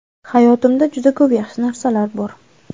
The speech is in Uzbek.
Hayotimda juda ko‘p yaxshi narsalar bor.